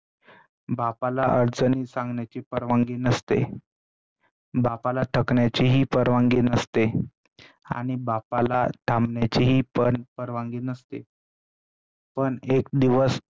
बापाला अडचणी सांगण्याची परवानगी नसते, बापाला थकण्याची ही परवानगी नसते, पण एक दिवस